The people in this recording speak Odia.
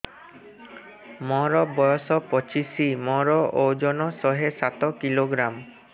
ମୋର ବୟସ ପଚିଶି ମୋର ଓଜନ ଶହେ ସାତ କିଲୋଗ୍ରାମ